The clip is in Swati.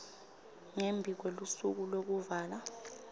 ngembi kwelusuku lwekuvala